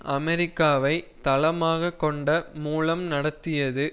அமெரிக்காவை தளமாக கொண்ட மூலம் நடத்தியது